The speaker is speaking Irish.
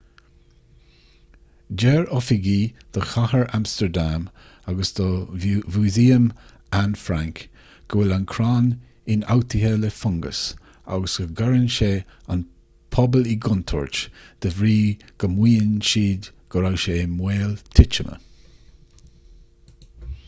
deir oifigigh do chathair amstardam agus do mhúsaem anne frank go bhfuil an crann ionfhabhtaithe le fungas agus go gcuireann sé an pobal i gcontúirt de bhrí go maíonn siad go raibh sé i mbaol titime